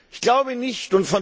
Ich glaube nicht!